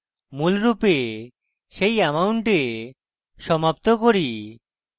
মূল রূপে সেই অ্যামাউন্টে সমাপ্ত করি